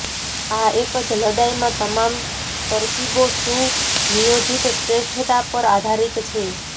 આ એક જ લડાઇમાં તમામ તરકીબો સુનિયોજિત શ્રેષ્ઠતા પર આધારિત છે